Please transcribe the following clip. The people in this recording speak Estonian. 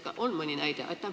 Kas on mõni näide?